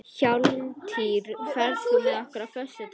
Hjálmtýr, ferð þú með okkur á föstudaginn?